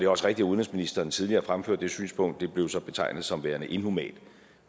også rigtigt at udenrigsministeren tidligere har fremført det synspunkt og det blev så betegnet som værende inhumant